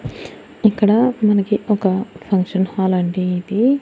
ఇక్కడ మనకి ఒక ఫంక్షన్ హాల్ అంటే ఇది--